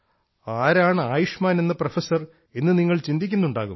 ആരാണ് ആയുഷ്മാൻ എന്ന പ്രൊഫസർ എന്ന് നിങ്ങൾ ചിന്തിക്കുന്നുണ്ടാകും